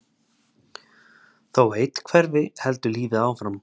þó að einn hverfi heldur lífið áfram